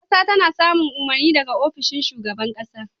Ƙasa tana samun umarni daga ofishin shugaban ƙasa.